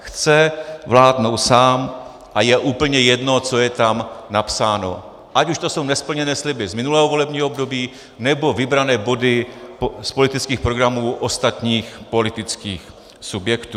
Chce vládnout sám a je úplně jedno, co je tam napsáno, ať už jsou to nesplněné sliby z minulého volebního období, nebo vybrané body z politických programů ostatních politických subjektů.